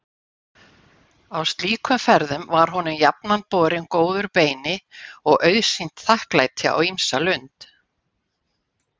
Á slíkum ferðum var honum jafnan borinn góður beini og auðsýnt þakklæti á ýmsa lund.